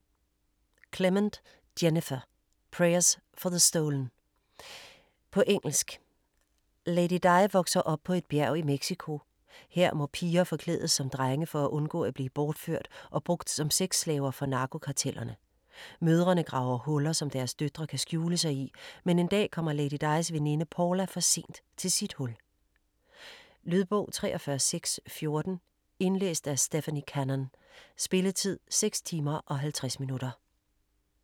Clement, Jennifer: Prayers for the stolen På engelsk. Ladydi vokser op på et bjerg i Mexico. Her må piger forklædes som drenge for at undgå at blive bortført og brugt som sexslaver for narkokartellerne. Mødrene graver huller, som deres døtre kan skjule sig i, men en dag kommer Ladydis veninde Paula for sent til sit hul. Lydbog 43614 Indlæst af Stephanie Cannon. Spilletid: 6 timer, 50 minutter.